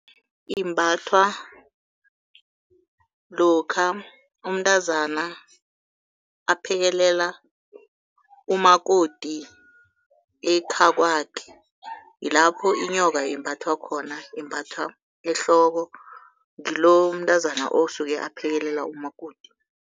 Imbathwa lokha umntazana aphekelela umakoti ekhakwakhe, yilapho inyoka imbathwa khona. Imbathwa ehloko, ngilo umntazana osuke aphekelela umakoti.